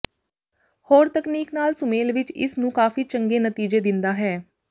ਹੋਰ ਤਕਨੀਕ ਨਾਲ ਸੁਮੇਲ ਵਿੱਚ ਇਸ ਨੂੰ ਕਾਫ਼ੀ ਚੰਗੇ ਨਤੀਜੇ ਦਿੰਦਾ ਹੈ